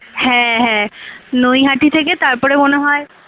হ্যাঁ হ্যাঁ নইহাটি থেকে তারপরে মনে হয়।